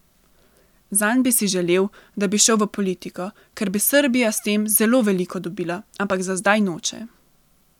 Zanj bi si želel, da bi šel v politiko, ker bi Srbija s tem zelo veliko dobila, ampak za zdaj noče.